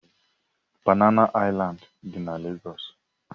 Banana Island dị na Lagos.